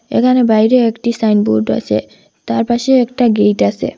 এখানে বাইরে একটি সাইনবোর্ড আসে তার পাশে একটা গেইট আসে।